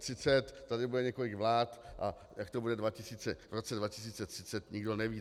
Tady bude několik vlád, a jak to bude v roce 2030, nikdo neví.